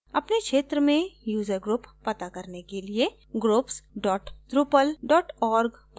अपने क्षेत्र में user group to करने के लिए groups dot drupal dot org पर जाएँ